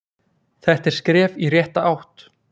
Þetta er skref í rétta átt.